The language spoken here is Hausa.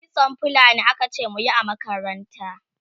kitson fulani akace muyi a makaranta